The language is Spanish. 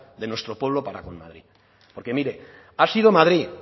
de nuestro pueblo para con madrid porque mire ha sido madrid